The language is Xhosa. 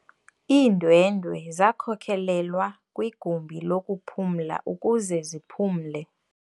Iindwendwe zakhokelelwa kwigumbi lokuphumla ukuze ziphumle.